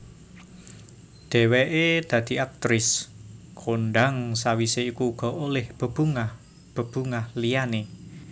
Dheweké dadi aktrris kondhang sawisé iku uga olih bebungah bebungah liyané